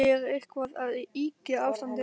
Er ég eitthvað að ýkja ástandið?